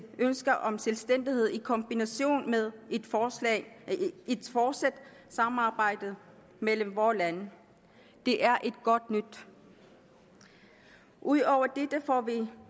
ønsker om selvstændighed i kombination med et fortsat fortsat samarbejde mellem vore lande det er godt nyt ud over dette får vi